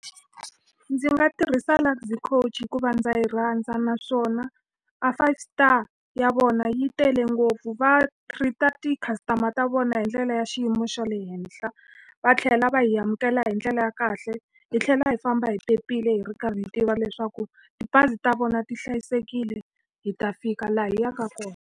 Ndzi nga tirhisa Luxy Coach hikuva ndza yi rhandza naswona a five star ya vona yi tele ngopfu. Va treat-a ti-customer ta vona hi ndlela ya xiyimo xa xa le henhla, va tlhela va hi amukela hi ndlela ya kahle. Hi tlhela hi famba hi phephile hi ri karhi hi tiva leswaku tibazi ta vona ti hlayisekile, hi ta fika laha hi yaka kona.